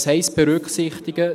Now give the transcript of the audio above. Was heisst berücksichtigen?